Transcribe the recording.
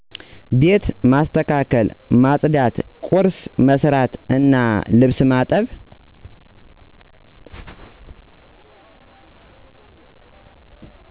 ቤት ማስተካከል፣ ማፅዳት፣ ቁርስ መስራት እና ልብስ ማጠብ